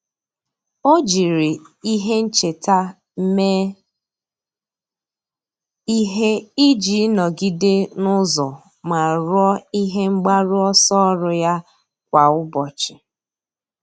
Ọ́ jiri ihe ncheta mee ihe iji nọ́gídé n’ụ́zọ́ ma rúó ihe mgbaru ọsọ ọ́rụ́ ya kwa ụ́bọ̀chị̀.